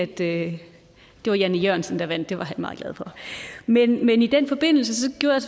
det var jan e jørgensen der vandt og det var han meget glad for men i den forbindelse gjorde jeg